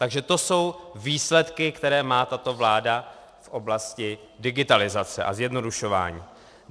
Takže to jsou výsledky, které má tato vláda v oblasti digitalizace a zjednodušování.